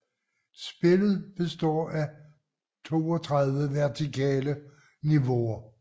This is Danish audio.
Spillet består af 32 vertikale niveauer